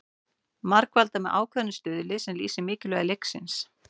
Margfaldað með ákveðnum stuðli sem lýsir mikilvægi leiksins.